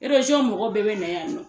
mɔgɔ bɛɛ bɛ na yan nɔ.